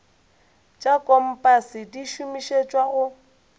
tša kompase di šomišetšwa go